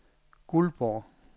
Guldborg